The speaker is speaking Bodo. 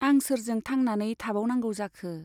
आं सोरजों थांनानै थाबावनांगौ जाखो ?